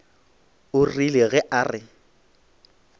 o rile ge a re